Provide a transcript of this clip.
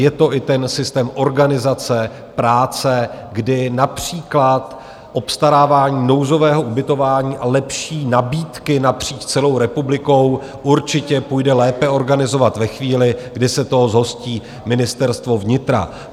Je to i ten systém organizace práce, kdy například obstarávání nouzového ubytování a lepší nabídky napříč celou republikou určitě půjde lépe organizovat ve chvíli, kdy se toho zhostí Ministerstvo vnitra.